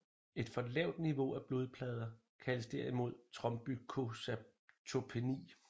Et for lavt niveau af blodplader kaldes derimod trombocytopeni